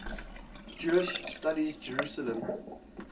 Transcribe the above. jewish studies jerusalem